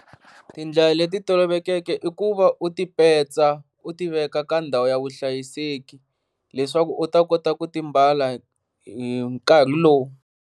Tindlela leti toloveleke i ku va u ti petsa u tiveka ka ndhawu ya vuhlayiseki leswaku u ta kota ku ti mbala hi nkarhi lowu.